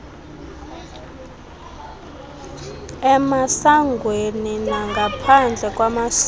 emasangweni nangaphandle kwamasango